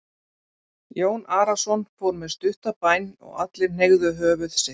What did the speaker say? Jón Arason fór með stutta bæn og allir hneigðu höfuð sitt.